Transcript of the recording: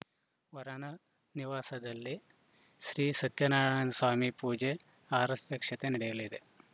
ವರನ ನಿವಾಸದಲ್ಲಿ ಶ್ರೀ ಸತ್ಯನಾರಾಯಣ ಸ್ವಾಮಿ ಪೂಜೆ ಆರತಕ್ಷತೆ ನಡೆಯಲಿದೆ